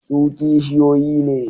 Su kishiyoyi ne.